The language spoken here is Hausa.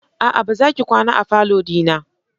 A'a! Bazaki kwana a falo dina.